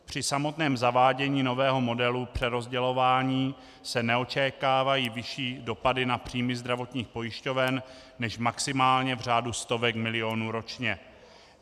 Při samotném zavádění nového modelu přerozdělování se neočekávají vyšší dopady na příjmy zdravotních pojišťoven než maximálně v řádu stovek milionů ročně.